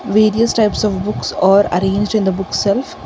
various types of books are arranged in the book shelf.